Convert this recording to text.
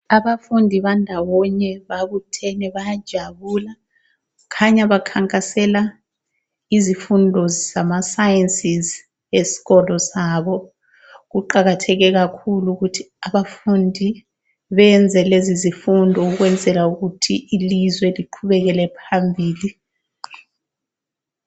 Abafundi bandawonye babuthene bayajabula, khanya bakhankasela izifundo zama Sciences esikolo sabo. Kuqakatheke kakhulu ukuthi abafundi benze lezi zifundo ukwenzela ukuthi ilizwe liqhubekele phambili.